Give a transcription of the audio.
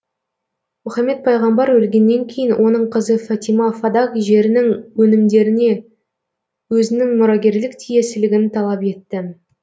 мұхаммед пайғамбар өлгеннен кейін оның қызы фатима фадак жерінің өнімдеріне өзінің мұрагерлік тиесілігін талап етті